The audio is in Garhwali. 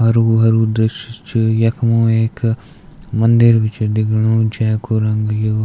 हरु-हरु दृश्य च यख्म एक मंदिर भी च दिखेणु जेकू रंग यु --